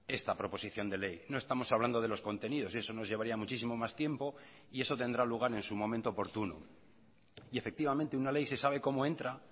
esta proposición de ley no estamos hablando de los contenidos y eso nos llevaría muchísimo más tiempo y eso tendrá lugar en su momento oportuno y efectivamente una ley se sabe como entra